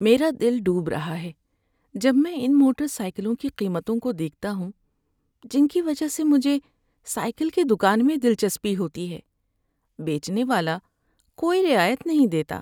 میرا دل ڈوب رہا ہے جب میں ان موٹر سائیکلوں کی قیمتوں کو دیکھتا ہوں، جن کی وجہ سے مجھے سائیکل کی دکان میں دلچسپی ہوتی ہے۔ بیچنے والا کوئی رعایت نہیں دیتا۔